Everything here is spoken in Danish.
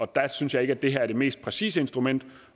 der synes jeg ikke at det her er det mest præcise instrument